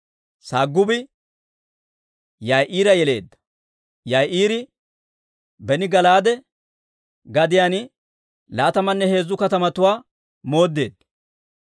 Sagubi Yaa'iira yeleedda. Yaa'iiri beni Gala'aade gadiyaan laatamanne heezzu katamatuwaa mooddeedda.